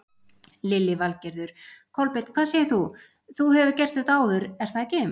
Lillý Valgerður: Kolbeinn hvað segir þú, þú hefur gert þetta áður er það ekki?